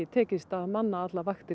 tekist að manna allar vaktir